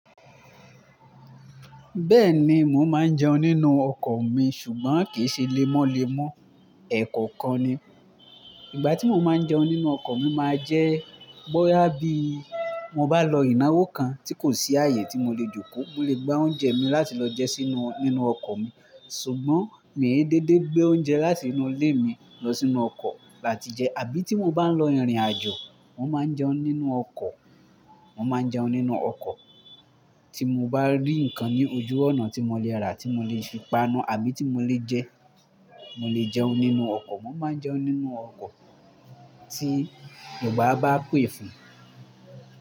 Bẹ́ẹ̀ni, mò ń máa ń jẹun nínú ọkọ̀ mi ṣùgbọ́n kìí ṣe lémọ́ lémọ́, ẹ̀kọ̀okan ni. Ìgbà tí mo máa ń jẹun nínú ọkọ̀ mi máa jẹ́ bóyá bí mo bá lọ ìnáwó kan tí kò sí ààyè tí mo lè jókòó, mo lè gbá oúnjẹ mi láti lọ jẹ sínu, nínú ọkọ̀ mi. Ṣùgbọ́n mi ò dédé gbé oúnjẹ láti inú ilé mi lọ sínú ọkọ̀ láti jẹ. Àbí tí mo bá ń lọ ìrìnàjò, mò ń máa ń jẹun nínú ọkọ̀, mò ń máa ń jẹun nínú ọkọ̀. Tí mo bá rí ǹkan ní ojú ọ̀nà tí mo lè rà, tí mo lè fi panu àbí tí mo lè jẹ, mo lè jẹun nínú ọkọ̀. Mò máa ń jẹun nínú ọkọ̀ tí ìgbà bá pè fún mi.